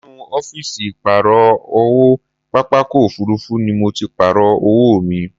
Inú ọ́fìsì ìpààrọ̀ owó pápákọ̀ òfuurufú ni mo ti Pààrọ̀ owó mi